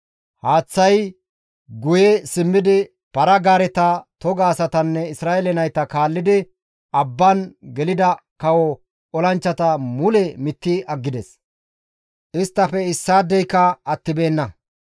Haaththay guye simmidi para-gaareta toga asatanne Isra7eele nayta kaallidi abban gelida kawo olanchchata mule mitti aggides; isttafe issaadeyka attibeenna.